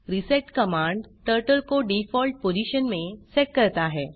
reset command turtle को default position में set करता है